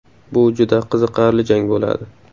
Bu juda qiziqarli jang bo‘ladi.